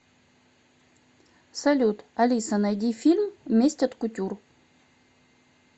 салют алиса найди фильм месть от кутюр